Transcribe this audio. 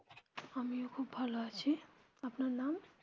আমিও খুব ভালো আছি আপনার নাম.